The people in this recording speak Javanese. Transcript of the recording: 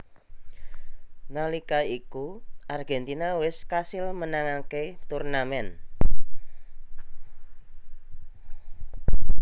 Nalika iku Argentina wés kasil menangaké turnamen